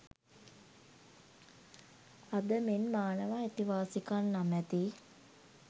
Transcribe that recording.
අද මෙන් මානව අයිතිවාසිකම් නමැති